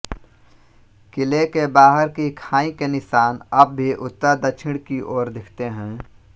किले के बाहर की खाई के निशान अब भी उत्तरदक्षिण की ओर दिखते हैं